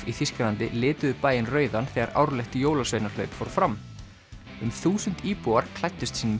í Þýskalandi lituðu bæinn rauðan þegar árlegt jólasveinahlaup fór fram um þúsund íbúar klæddust sínum